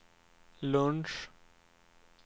lunch